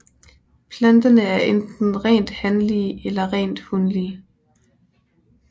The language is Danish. Planterne er enten rent hanlige eller rent hunlige